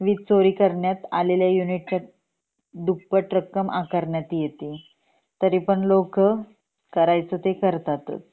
वीज चोरी करण्यात आलेल्या युनिट च्या दुप्पट रक्कम आकारण्यात येते तरी पण लोक करायचं ते करतातच